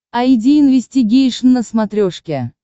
айди инвестигейшн на смотрешке